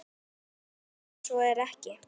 Og ef svo er ekki?